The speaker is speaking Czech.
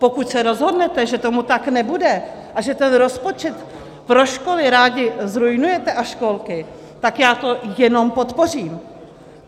Pokud se rozhodnete, že tomu tak nebude a že ten rozpočet pro školy rádi zruinujete, a školky, tak já to jenom podpořím.